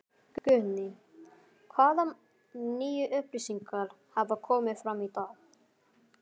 Guðný: Hvaða nýju upplýsingar hafa komið fram í dag?